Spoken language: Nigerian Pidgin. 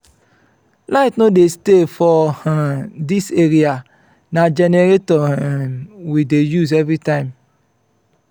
light no dey stay for um dis area na generator um we dey use every time